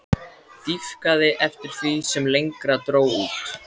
Dýpkaði eftir því sem lengra dró út.